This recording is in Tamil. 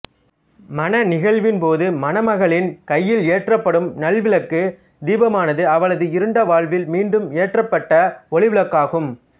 மண நிகழ்வின் போது மணமகளின் கையில் ஏற்றப்படும் நல் விளக்கு தீபமானது அவளது இருண்ட வாழ்வில் மீண்டும் ஏற்றப்பட்ட ஒளிவிளக்காகும்